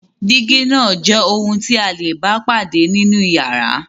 Dígí náà jẹ́ ohun tí a le bá pàdé nínú ìyàrá.